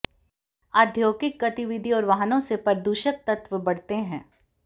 औद्योगिक गतिविधि और वाहनों से प्रदूषक तत्त्व बढ़ते हैं